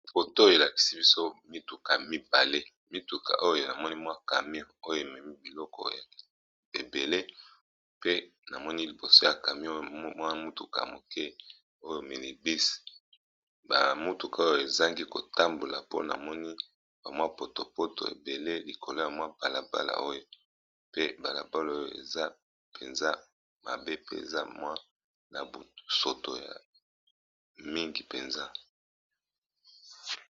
Photo elakisi biso mutuka mibale pe namoni camion oyo ememi biloko ebele pe namoni liboso ya camion wana mutuka muke oyo minibus pe ba mituka wana ezo kende te po na potopoto mingi likolo ya balabala oyo.